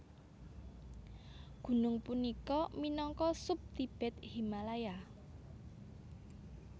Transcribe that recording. Gunung punika minangka sub Tibet Himalaya